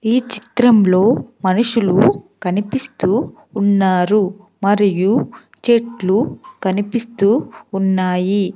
ఈ చిత్రంలో మనుషులు కనిపిస్తూ ఉన్నారు మరియు చెట్లు కనిపిస్తూ ఉన్నాయి.